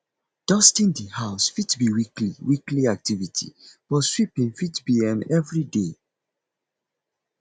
dusting di house fit be weekly weekly activity but sweeping fit be um everyday